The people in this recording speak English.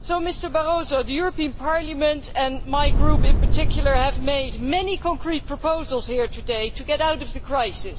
So, Mr Barroso, the European Parliament and my group in particular have made many concrete proposals today to get out of the crisis.